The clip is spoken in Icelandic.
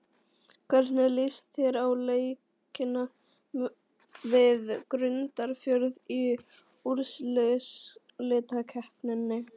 Hvernig líst þér á leikina við Grundarfjörð í úrslitakeppninni?